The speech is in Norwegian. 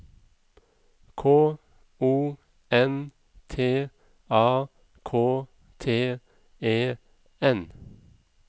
K O N T A K T E N